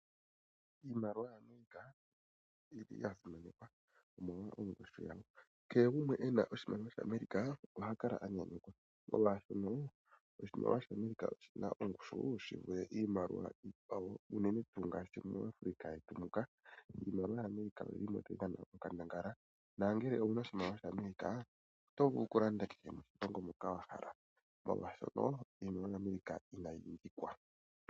Iimaliwa yaAmerica oyili yasimanekwa omolwa ongushu yawo kehe gumwe ena oshimaliwa shaAmerica oha kala anynyukwa molwashono oshimaliwa shaAmerica oshina ongushu shi vule iimaliwa ikkwawo uunene tuu mu